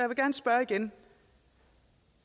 gerne spørge igen